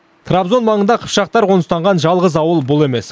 трабзон маңында қыпшақтар қоныстанған жалғыз ауыл бұл емес